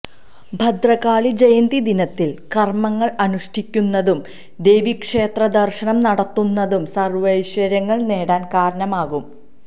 ഭദ്രകാളി ജയന്തി ദിനത്തില് കര്മങ്ങള് അനുഷ്ഠിക്കുന്നതും ദേവീക്ഷേത്രദര്ശനം നടത്തുന്നതും സര്വൈശ്വര്യങ്ങള് നേടാന് കാരണമാകും